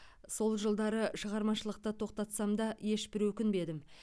сол жылдары шығармашылықты тоқтатсам да ешбір өкінбедім